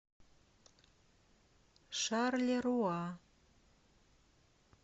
шарлеруа